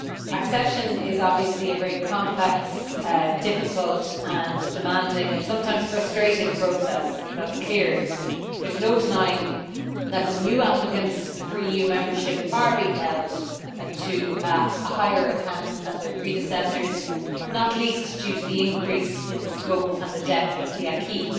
Accession is obviously a very complex, difficult, demanding and sometimes frustrating process that is clear. There is no denying that the new applicants for EU membership are being held to a higher account than their predecessors, not least due to the increase in the scope and depth of the acquis.